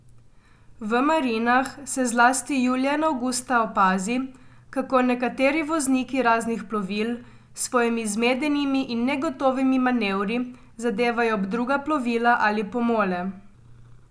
V marinah se zlasti julija in avgusta opazi, kako nekateri vozniki raznih plovil s svojimi zmedenimi in negotovimi manevri zadevajo ob druga plovila ali pomole.